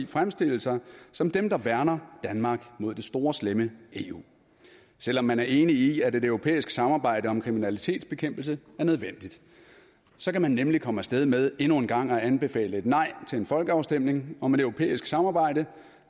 fremstille sig som dem der værner danmark mod det store slemme eu selv om man er enig i at et europæisk samarbejde om kriminalitetsbekæmpelse er nødvendigt så kan man nemlig komme afsted med endnu en gang at anbefale et nej til en folkeafstemning om et europæisk samarbejde